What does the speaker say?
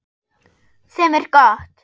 Sem er gott.